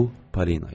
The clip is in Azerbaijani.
Bu Polina idi.